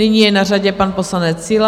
Nyní je na řadě pan poslanec Síla.